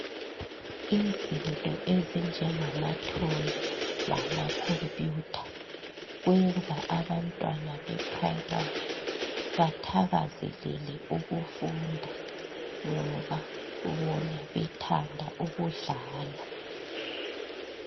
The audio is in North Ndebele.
Izinto ezinjengamatoy lama computer kwenza abantwana beprimary bathakazelele ukufunda ngoba bona bethanda ukudlala.